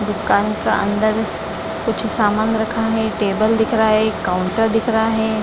दुकान का अंदर मे कुछ समान रखा है टेबल दिख रहा है काउन्टर दिख रहा है।